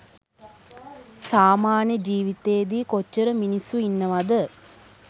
සාමාන්‍ය ජීවිතේදි කොච්චර මිනිස්සු ඉන්නවද